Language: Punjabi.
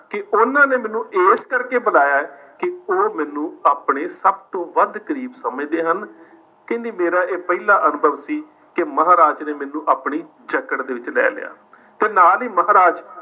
ਕਿ ਉਨ੍ਹਾਂ ਨੇ ਮੈਨੂੰ ਇਸ ਕਰਕੇ ਬੁਲਾਇਆ ਹੈ ਕਿ ਉਹ ਮੈਨੂੰ ਆਪਣੇ ਸਭ ਤੋਂ ਵੱਧ ਕਰੀਬ ਸਮਝਦੇ ਹਨ। ਕਹਿੰਦੀ ਮੇਰਾ ਇਹ ਪਹਿਲਾ ਅਨੁਭਵ ਸੀ ਕਿ ਮੈਨੂੰ ਮਹਾਰਾਜ ਨੇ ਆਪਣੀ ਜਕੜ ਦੇ ਵਿੱਚ ਲੈ ਲਿਆ ਤੇ ਨਾਲ ਹੀ ਮਹਾਰਾਜ